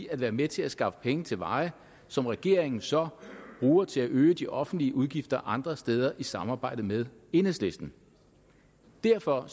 at være med til at skaffe penge til veje som regeringen så bruger til at øge de offentlige udgifter andre steder med i samarbejde med enhedslisten derfor